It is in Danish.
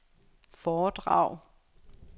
foredrag